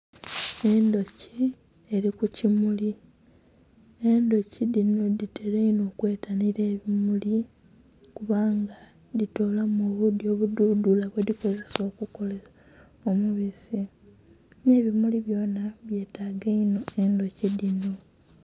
Endhuki eli ku kimuli, endhuki dhino dhitela inho okwetanhila ebimuli kubanga dhitoolamu obuudhi obudhudhula bwe dhikozesa okukola omubisi. Nhe bimuli byonha byetaaga inho endhuki dhino.